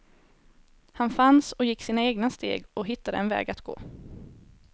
Han fanns och gick sina egna steg, och hittade en väg att gå.